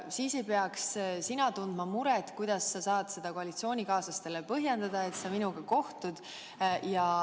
Siis ei peaks sa tundma muret, kuidas sa saad seda koalitsioonikaaslastele põhjendada, et sa minuga kohtud.